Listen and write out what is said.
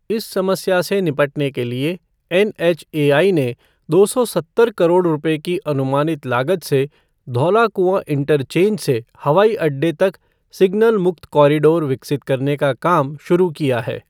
इस समस्या से निपटने के लिए एनएचएआई ने दो सौ सत्तर करोड़ रुपये की अनुमानित लागत से धौलाकुंआ इंटरचेंज से हवाईअड्डे तक सिग्नल मुक्त कॉरिडोर विकसित करने का काम शुरू किया है।